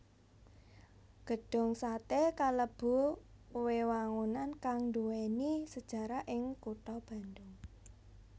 Gedhung satè kalebu wewangunan kang nduwèni sejarah ing kutha Bandung